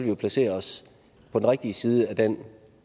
jo placere os på den rigtige side af den